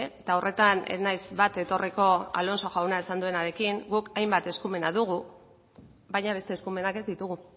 eta horretan ez naiz bat etorriko alonso jaunak esan duenarekin guk hainbat eskumena dugu baina beste eskumenak ez ditugu